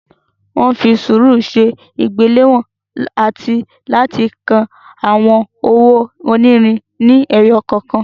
Wọ́n fi sùúrù ṣe ìgbéléwọ̀n àti láti ka àwọn owó onírin ni ẹyọ kọ̀ọ̀kan.